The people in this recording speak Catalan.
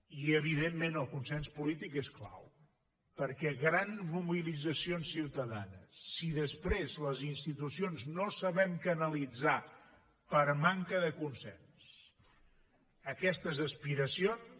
i evidentment el consens polític és clau perquè grans mobilitzacions ciutadanes si després les institucions no sabem canalitzar per manca de consens aquestes aspiracions